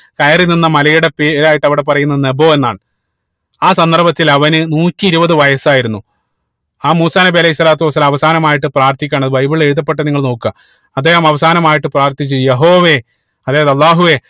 കയറി നിന്ന മലയുടെ പേരായിട്ട് അവിടെ പറയുന്നത് നെബോ എന്നാണ് ആ സന്ദർഭത്തിൽ അവന് നൂറ്റി ഇരുപത് വയസായിരുന്നു ആ മൂസാ നബി അലൈഹി സ്വലാത്തു വസ്സലാം അവസാനമായിട്ട് പ്രാർത്ഥിക്കുകയാണ് ബൈബിളിൽ എഴുതപ്പെട്ടത് നിങ്ങൾ നോക്ക അദ്ദേഹം അവസാനമായിട്ട് പ്രാർത്ഥിച്ചു യഹോവേ അതായത് അള്ളാഹുവേ